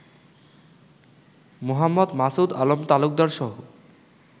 Md. Masud Alam তালুকদারসহ